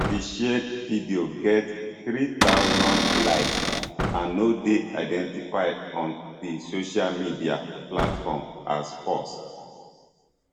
di shared video get three thousand likes and no dey identified on di social media platform as false